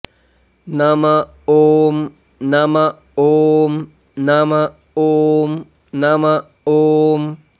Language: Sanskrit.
नम ॐ नम ॐ नम ॐ नम ॐ